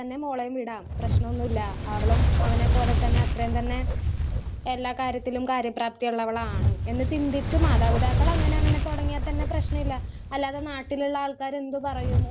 Speaker 1 മോളെയും വിടാം. പ്രശ്നം ഒന്നൂല്ല. അവളും അവനെ പോലെ തന്നെ അത്രയും തന്നെ എല്ലാം കാര്യത്തിലും കാര്യ പ്രാപ്തിയുള്ളവളാണ്. എന്ന് ചിന്തിച്ച് മാതാപിതാക്കൾ അങ്ങനെ തന്നെ തുടങ്ങിയാൽ തന്നെ പ്രശ്നമില്ല. അല്ലാതെ നാട്ടിലുള്ള ആൾക്കാരെന്ത് പറയുമോ?